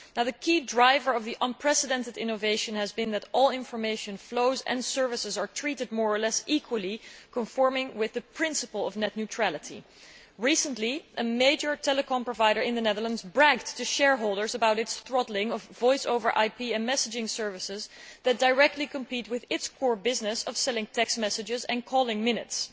The key driver of this unprecedented innovation has been that all information flows and services are treated more or less equally, conforming with the principle of net neutrality. Recently, a major telecoms provider in the Netherlands bragged to shareholders about its throttling of the voice over IP and messaging services that directly compete with its core business of selling text messages and calling minutes.